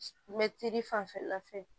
Mɛtiri fanfɛla fɛ